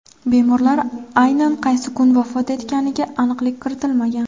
Bemorlar aynan qaysi kuni vafot etganiga aniqlik kiritilmagan.